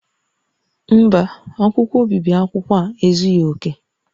Mba, akwụkwọ obibi akwụkwọ a ezughi oke